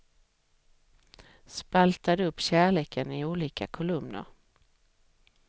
Spaltade upp kärleken i olika kolumner.